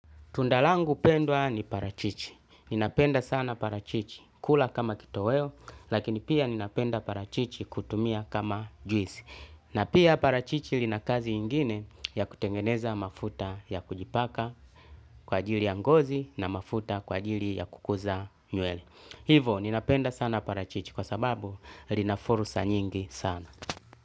Tunda langu pendwa ni parachichi, ninapenda sana parachichi, kula kama kitoweo, lakini pia ninapenda parachichi kutumia kama juisi. Na pia parachichi lina kazi ingine ya kutengeneza mafuta ya kujipaka kwa ajili ya ngozi na mafuta kwa ajili ya kukuza nywele. Hivo ninapenda sana parachichi kwa sababu lina fursa nyingi sana.